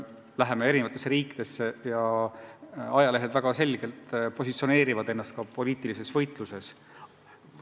Paljud eri riikide ajalehed positsioneerivad ennast selgelt ka poliitilises võitluses.